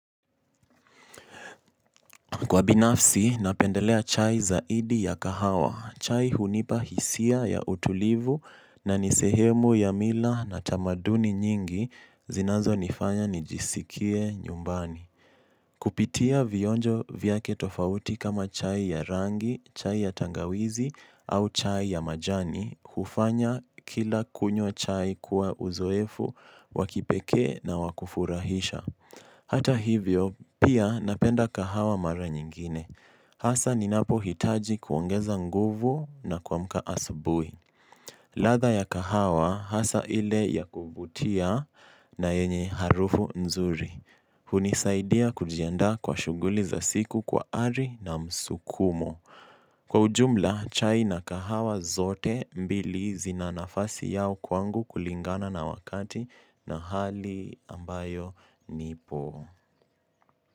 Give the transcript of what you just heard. Kwa binafsi, napendelea chai zaidi ya kahawa. Chai hunipa hisia ya utulivu na nin sehemu ya mila na utamaduni nyingi zinazo nifanya nijisikie nyumbani. Kupitia vionjo vyake tofauti kama chai ya rangi, chai ya tangawizi au chai ya majani, hufanya kila kunyo chai kuwa uzoefu, wakipeke na wakufurahisha. Hata hivyo, pia napenda kahawa mara nyingine. Hasa ninapo hitaji kuongeza nguvu na kuamka asubui. Latha ya kahawa, hasa ile ya kuvutia na yenye harufu nzuri. Hunisaidia kujianda kwa shuguli za siku kwa ari na msukumo. Kwa ujumla, chai na kahawa zote mbili zina nafasi yao kwangu kulingana na wakati na hali ambayo nipo.